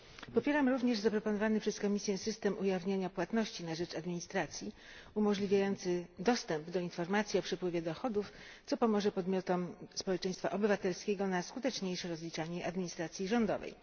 Popieram również zaproponowany przez Komisję system ujawniania płatności na rzecz administracji umożliwiający dostęp do informacji o przepływie dochodów, co pomoże podmiotom społeczeństwa obywatelskiego na skuteczniejsze rozliczanie administracji rządowej.